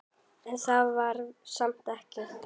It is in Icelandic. En það var samt ekki.